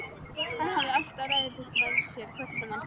Hann hafði alltaf ræðupúlt með sér hvert sem hann fór.